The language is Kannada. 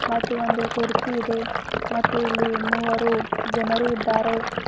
ಮತ್ತು ಒಂದು ಕುರ್ಚಿ ಇದೆ ಮತ್ತು ಇಲ್ಲಿ ಮೂವರು ಜನರಿದ್ದಾರೆ.